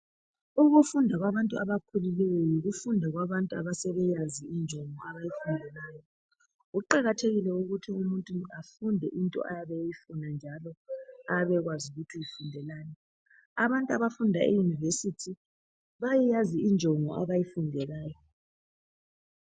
Ukufunda kwabantu abakhulileyo yikufunda kwabantu asebeyazi injongo abayifundelayo. Kuqakathekile ukuthi umuntu afunde into ayabe eyfuna njalo ayabe ekwazi ukuthi uyfundelani. Abantu abafunda e University bayayazi injongo abayifundelayo.